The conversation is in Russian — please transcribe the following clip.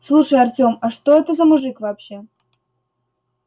слушай артём а что это за мужик вообще